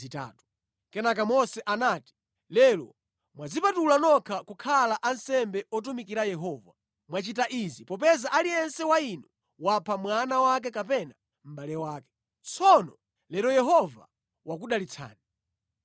Kenaka Mose anati, “Lero mwadzipatula nokha kukhala ansembe otumikira Yehova. Mwachita izi popeza aliyense wa inu wapha mwana wake kapena mʼbale wake. Tsono lero Yehova wakudalitsani.”